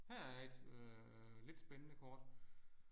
Her er et øh lidt spændende kort